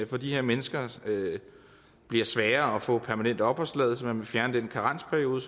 for de her mennesker bliver sværere at få permanent opholdstilladelse man vil fjerne den karensperiode